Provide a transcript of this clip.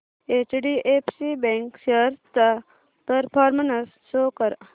HDFC bank shares चा performance show कर